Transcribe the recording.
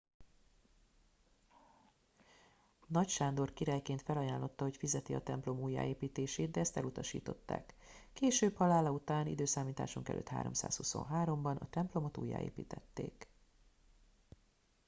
nagy sándor királyként felajánlotta hogy fizeti a templom újjáépítését de ezt elutasították később halála után i.e. 323 ban a templomot újjáépítették